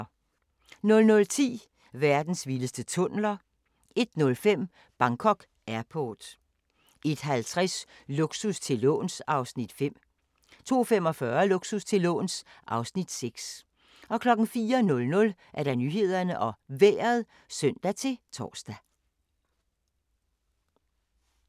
00:10: Verdens vildeste tunneler 01:05: Bangkok Airport 01:50: Luksus til låns (Afs. 5) 02:45: Luksus til låns (Afs. 6) 04:00: Nyhederne og Vejret (søn-tor)